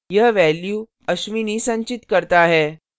यह value ashwini संचित करता है